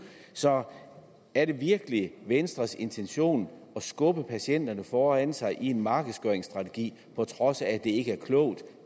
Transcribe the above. så er det virkelig venstres intention at skubbe patienterne foran sig i en markedsgøringsstrategi på trods af at det ikke er klogt